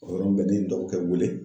O yɔrɔnin bɛɛ ne ye n dɔgɔkɛ wele.